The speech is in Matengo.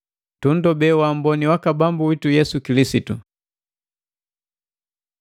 Tunndobe wa amboni waka Bambu witu Yesu Kilisitu.